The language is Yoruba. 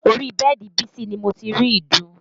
Orí bẹ́ẹ̀dì bísí ni mo ti rí ìdun